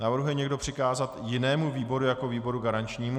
Navrhuje někdo přikázat jinému výboru jako výboru garančnímu?